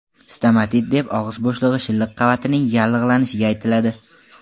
Stomatit deb og‘iz bo‘shlig‘i shilliq qavatining yallig‘lanishiga aytiladi.